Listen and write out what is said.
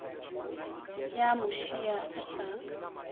ya mo šia a sa